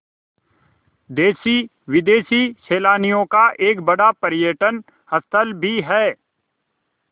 देशी विदेशी सैलानियों का एक बड़ा पर्यटन स्थल भी है